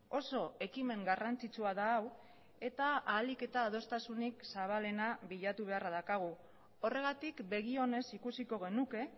oso ekimen garrantzitsua da hau eta ahalik eta adostasunik zabalena bilatu beharra daukagu horregatik begi onez ikusiko genuke